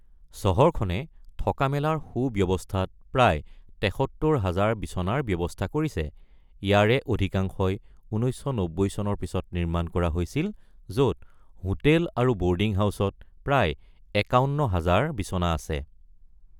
চহৰখনে থকা-মেলাৰ সুব্যৱস্থাত প্ৰায় ৭৩ হাজাৰ বিচনাৰ ব্যৱস্থা কৰিছে, ইয়াৰে অধিকাংশই ১৯৯০ চনৰ পিছত নিৰ্মাণ কৰা হৈছিল, য’ত হোটেল আৰু বৰ্ডিং হাউচত প্ৰায় ৫১ হাজাৰ বিচনা আছে।